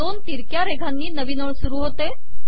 दोन तिरक्या रेघांनी नवीन ओळ सुरु होते